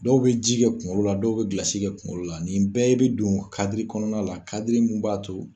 Dɔw bɛ ji kɛ kunkolo la dɔw bɛ gilasi kɛ kunkolo la nin bɛɛ bɛ don kaadiri kɔnɔna la kaadiri min b'a to